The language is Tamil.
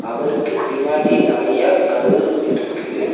அவருக்கு பின்னாடி நறயா கல் இருக்கு.